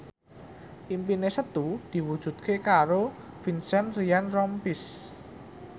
impine Setu diwujudke karo Vincent Ryan Rompies